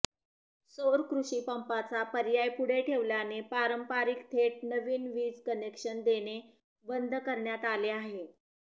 सौर कृषिपंपाचा पर्याय पुढे ठेवल्याने पारंपरिक थेट नवीन वीज कनेक्शन देणे बंद करण्यात आले आहे